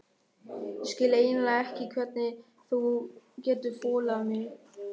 Ég skil eiginlega ekki hvernig þú getur þolað mig.